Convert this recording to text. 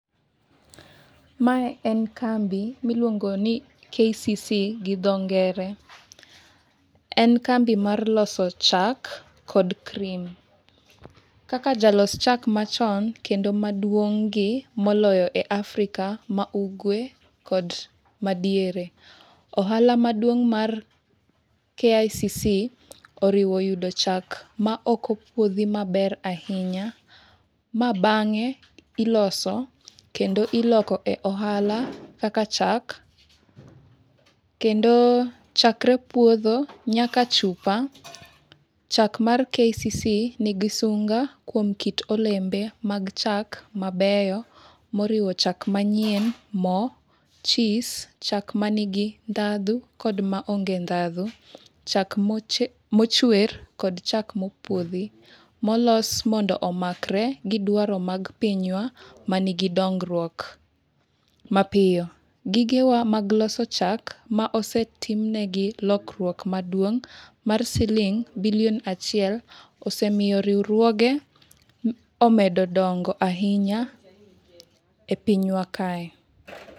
Mae en kambi miluongo ni KCC gi dho ngere. En kambi mar loso chak kod cream. Kaka jalos chak machon kendo maduong' gi moloyo e Africa ma Ugwe kod Madiere. Ohala maduong mar KICC oriwo yudo chak maok opuodhi maber ahinya, ma bang'e iloso kendo iloko e ohala kaka chak. Kendo chakre puodho nyaka chupa. Chak mar KCC nigi sunga kuom kit olembe mag chak mabeyo moriwo chak manyien, mo , cheese, chak manigi ndhadhu kod maonge ndhadhu. Chak mochwer kod chak mopuodhi molos mondo omakre gi dwaro mar pinywa mani gi dongruok mapiyo. Gigewa mag loso chak ma osetimnegi lokruok maduong' mar siling' bilion achiel osemiyo riwruoge omedo dongo ahinya e pinywa kae.